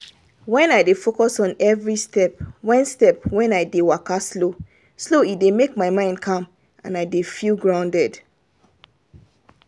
wen i dey focus on every step wen step wen i dey waka slow-slow e dey make my mind calm and i dey feel grounded